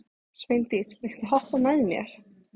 Sveindís, viltu hoppa með mér?